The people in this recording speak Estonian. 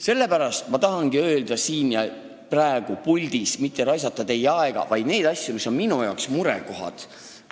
Sellepärast ma tahangi siin ja praegu selles puldis mitte raisata teie aega, vaid öelda neid asju, mis on minu arvates murekohad.